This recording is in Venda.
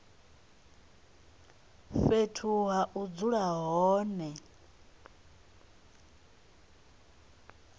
fhethu ha u dzula hone